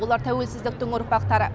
олар тәуелсіздіктің ұрпақтары